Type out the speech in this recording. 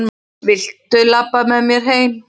Viltu labba með mér heim!